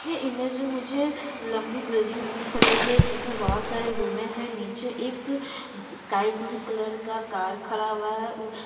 ये इमेज में मुझे लंबी बिल्डिंग दिख रही है जिसमे बहौत सारी रुमे हैं नीचे एक स्काई ब्लू कलर का कार खड़ा हुआ है।